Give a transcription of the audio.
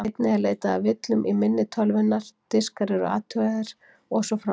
Einnig er leitað að villum í minni tölvunnar, diskar eru athugaðir og svo framvegis.